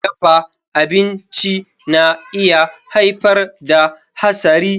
Dafa abinci na iya haifar da hasari.